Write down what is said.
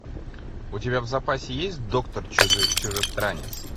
у тебя в запасе есть доктор чужестранец